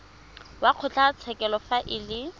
wa kgotlatshekelo fa e le